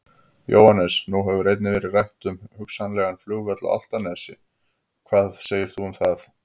Jóhannes: Nú hefur einnig verið rætt um hugsanlegan flugvöll á Álftanes, hugnast það þér?